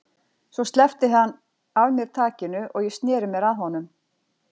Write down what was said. Svo sleppti hann af mér takinu og ég sneri mér að honum.